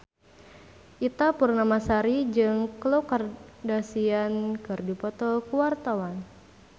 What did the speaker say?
Ita Purnamasari jeung Khloe Kardashian keur dipoto ku wartawan